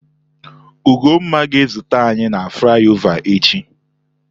Ugonma ga-ezute anyi na flaiova echi.